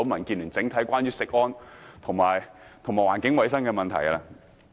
我要再跳過一頁講稿，不談漁農業的問題。